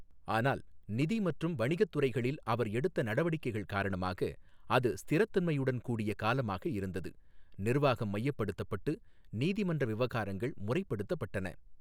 ஆனால் நிதி மற்றும் வணிகத் துறைகளில் அவர் எடுத்த நடவடிக்கைகள் காரணமாக, அது ஸ்திரத்தன்மையுடன் கூடிய காலமாக இருந்தது, நிர்வாகம் மையப்படுத்தப்பட்டு நீதிமன்ற விவகாரங்கள் முறைப்படுத்தப்பட்டன.